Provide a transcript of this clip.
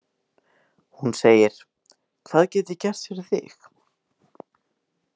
Hún segir: Hvað get ég gert fyrir þig?